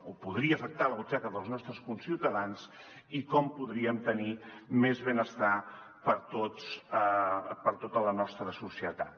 o podria afectar la butxaca dels nostres conciutadans i com podríem tenir més benestar per a tots per a tota la nostra societat